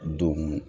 Don